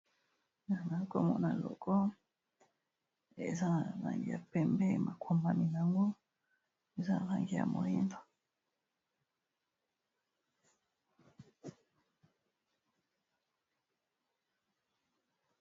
awa nazakomona loko eza na rangi ya pembe makombami yango eza a rangi ya morinba